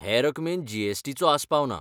हे रकमेंत G S. T. चो आस्पाव ना.